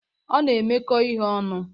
Ọ na-emekọ ihe ọnụ.